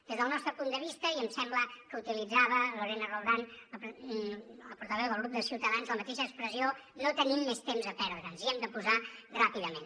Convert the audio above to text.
des del nostre punt de vista i em sembla que utilitzava lorena roldán la portaveu del grup de ciutadans la mateixa expressió no tenim més temps a perdre ens hi hem de posar ràpidament